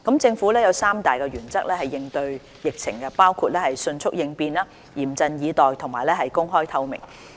政府有三大原則應對疫情，包括迅速應變，嚴陣以待和公開透明。